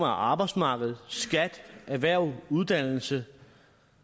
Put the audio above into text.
arbejdsmarkedet skat erhverv uddannelse